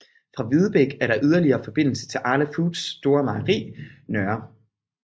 Fra Videbæk er der yderligere forbindelser til Arla Foods store mejeri Nr